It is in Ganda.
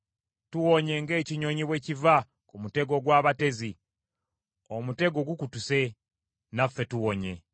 Tuwonye ng’ekinyonyi bwe kiva ku mutego gw’abatezi; omutego gukutuse, naffe tuwonye!